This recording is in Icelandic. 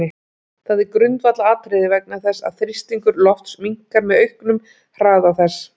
Það er grundvallaratriði vegna þess að þrýstingur lofts minnkar með auknum hraða þess.